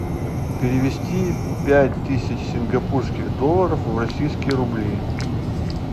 перевести пять тысяч сингапурских долларов в российские рубли